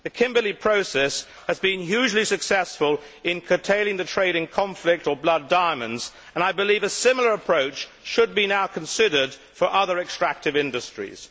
The Kimberley Process has been hugely successful in curtailing the trade in conflict or blood diamonds, and I believe a similar approach should now be considered for other extractive industries.